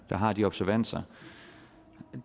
har de observanser